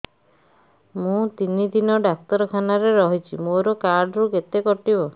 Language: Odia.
ମୁଁ ତିନି ଦିନ ଡାକ୍ତର ଖାନାରେ ରହିଛି ମୋର କାର୍ଡ ରୁ କେତେ କଟିବ